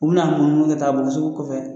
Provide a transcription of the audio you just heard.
U na n'u munumunu kɛ taa sugu kɔfɛ.